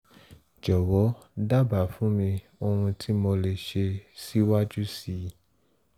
jọ̀wọ́ dábàá fún mi ohun tí mo lè ṣe síwájú sí i